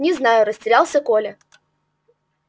не знаю растерялся коля